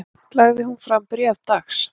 Lagði hún fram bréf dags